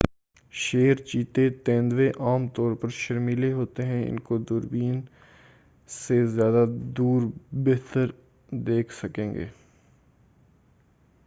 شیر چیتے اور تیندوے عام طور پر شرمیلے ہوتے ہیں اور آپ اُن کو دُوربین سے زیادہ بہتر دیکھ سکیں گے